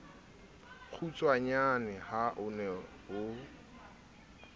kgutshwanyane ha o ne o